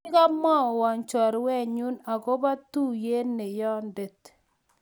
kikomwowaa chorwenyu akobo tuiyet neyondet